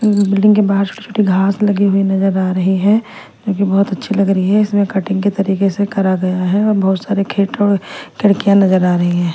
Building के बाहर छोटी छोटी घास लगी हुई नजर आ रही है जो कि बहोत अच्छी लग रही है इसमें कटिंग के तरीके से करा गया है और बहोत सारे खेत और खिड़कियां नजर आ रही हैं।